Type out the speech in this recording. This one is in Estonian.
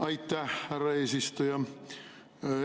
Aitäh, härra eesistuja!